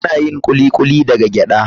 Ana yin Kuli kuli daga gyada.